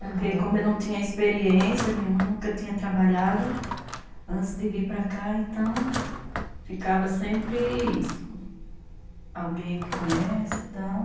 Porque como eu não tinha experiência nenhuma, nunca tinha trabalhado antes de vir para cá, então, ficava sempre alguém que conhece e tal.